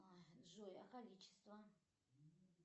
джой а количество